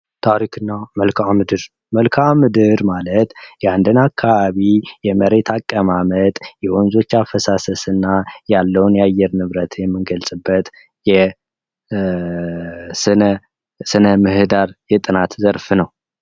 ታሪክና መልክዓ ምድር መልክዓ ምድር ማለት የአንድና አካባቢ የመሬት አቀማመጥ የወንዞች አፈሳሰስ እና ያለውን የአየር ንብረት የምንገልዕበት የስነ ምህዳር የጥናት ዘርፍ ነው።